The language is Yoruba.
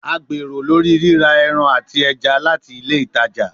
A gbero lori rira ẹran ati ẹja lati ile itaja